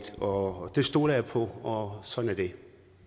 og det stoler jeg på og sådan er det